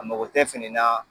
A mɔgɔ tɛ fini na.